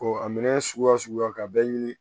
a minɛn suguya o suguya ka bɛɛ